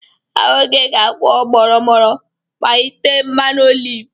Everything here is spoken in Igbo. Ahụ gị ga-akwọ mọrọ mọrọ ma ị tee mmanụ oliv.